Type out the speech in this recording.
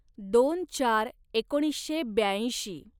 दोन चार एकोणीसशे ब्याऐंशी